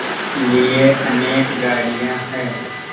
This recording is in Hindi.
लिए अनेक गाड़ियाँ हैं